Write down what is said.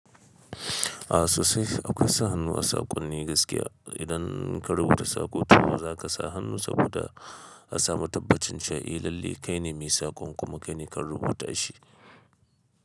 A sosai, akwai sa hannu a saƙonni gaskiya. Idan ka rubuta saƙo to za ka sa hannu saboda a samu tabbacin cewa eh lallai kaine mai saƙon kuma kai ne ka rubuta shi.